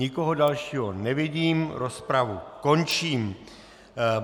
Nikoho dalšího nevidím, rozpravu končím.